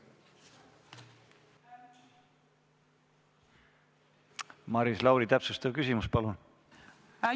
Maris Lauri, täpsustav küsimus, palun!